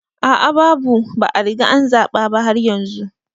A a babu, ba a riga an zaba ba har yanzu